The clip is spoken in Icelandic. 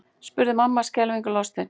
spurði mamma skelfingu lostin.